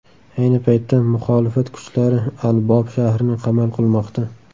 Ayni paytda muxolifat kuchlari al-Bob shahrini qamal qilmoqda.